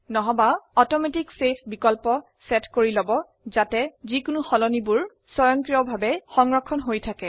অথবা automatic save বিকল্পটিৰ মান নিদিষ্ট কৰক যাতে পৰিবৰ্তনগুলি স্বয়ংক্ৰিয়ভাবে সংৰক্ষিত হয়